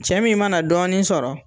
Cɛ min mana dɔɔni sɔrɔ